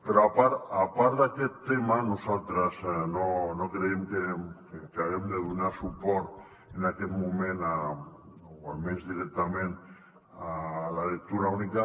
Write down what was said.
però a part d’aquest tema nosaltres no creiem que haguem de donar suport en aquest moment o almenys directament a la lectura única